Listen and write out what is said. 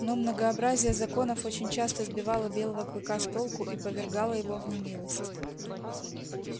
но многообразие законов очень часто сбивало белого клыка с толку и повергало его в немилость